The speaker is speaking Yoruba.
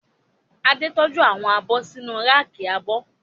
Adé tọ́jú àwọn abọ́ sínu ráàkì abọ́